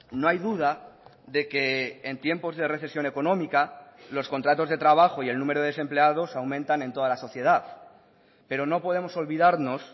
no hay duda de que en tiempos de recesión económica los contratos de trabajo y el número de desempleados aumentan en toda la sociedad pero no podemos olvidarnos